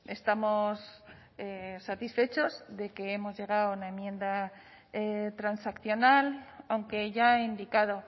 estamos satisfechos de que hemos llegado a una enmienda transaccional aunque ya he indicado